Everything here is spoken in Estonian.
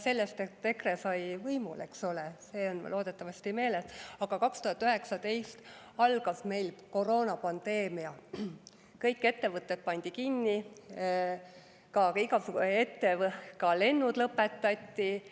See, et EKRE sai võimule, on loodetavasti meeles, aga 2019 algas meil koroonapandeemia, kõik ettevõtted pandi kinni, ka lennud lõpetati.